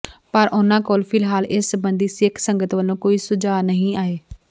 ਪਰ ਉਨ੍ਹਾਂ ਕੋਲ ਫਿਲਹਾਲ ਇਸ ਸਬੰਧੀ ਸਿੱਖ ਸੰਗਤ ਵੱਲੋਂ ਕੋਈ ਸੁਝਾਅ ਨਹੀਂ ਆਏ